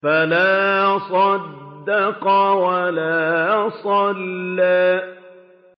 فَلَا صَدَّقَ وَلَا صَلَّىٰ